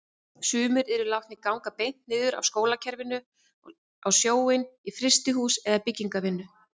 Sumir yrðu látnir ganga beint niður af skólakerfinu á sjóinn, í frystihús eða byggingarvinnu.